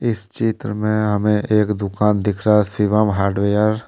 इस चित्र में हमें एक दुकान दिख रहा है शिवम हार्डवेयर ।